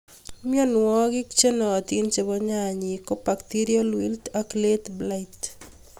Mionwikab chonootin chebo nyanyik ko bacterial wilt ak late blight.